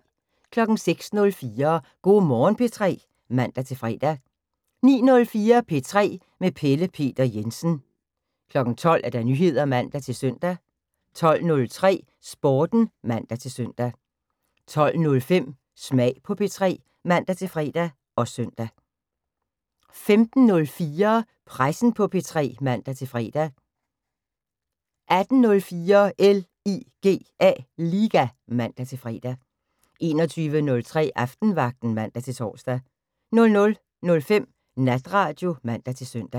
06:04: Go' Morgen P3 (man-fre) 09:04: P3 med Pelle Peter Jensen 12:00: Nyheder (man-søn) 12:03: Sporten (man-søn) 12:05: Smag på P3 (man-fre og søn) 15:04: Pressen på P3 (man-fre) 18:04: LIGA (man-fre) 21:03: Aftenvagten (man-tor) 00:05: Natradio (man-søn)